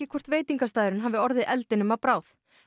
hvort veitingastaðurinn hafi orðið eldnum að bráð